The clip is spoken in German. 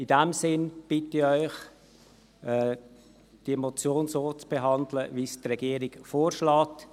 In diesem Sinn bitte ich Sie, diese Motion so zu behandeln, wie es die Regierung vorschlägt: